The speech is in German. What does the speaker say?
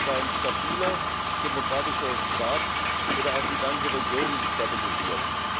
Das heißt Ein stabiler, demokratischer Staat würde auch die ganze Region stabilisieren.